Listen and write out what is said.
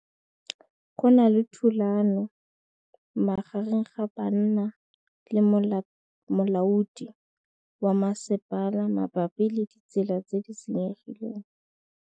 Go na le thulanô magareng ga banna le molaodi wa masepala mabapi le ditsela tse di senyegileng.